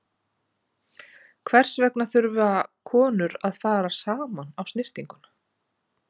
Hvers vegna þurfa konur að fara saman á snyrtinguna?